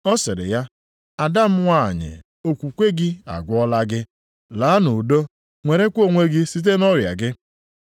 Ọ sịrị ya, “Ada m nwanyị, okwukwe gị agwọọla gị. Laa nʼudo nwerekwa onwe gị site nʼọrịa gị.”